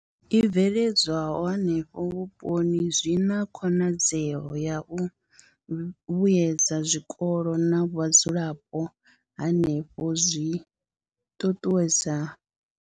I bveledzwaho henefho vhuponi zwi na khonadzeo ya u vhuedza zwikolo na vhadzulapo hanefho zwi ṱuṱuwedza.